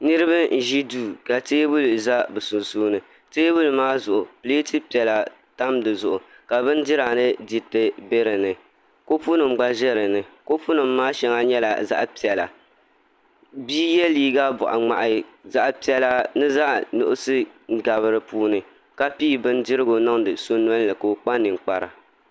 Niraba n ʒi duu ka teebuli tam bi sunsuuni teebuli maa zuɣu pileet piɛla n tamya ka bindira ni diriti bɛ dinni kopu nim gba ʒɛ dinni kopu nim maa shɛŋa nyɛla zaɣ piɛla bia yɛ liiga boɣa ŋmahi zaɣ piɛla ni zaɣ nuɣso n gabi dinni ka pii bindirigu niŋdi so noli ni ka o kpa ninkpara